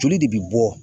Joli de bɛ bɔ